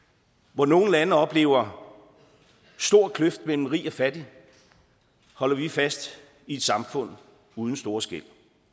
hvor nogle lande oplever en stor kløft mellem rig og fattig holder vi fast i et samfund uden store skel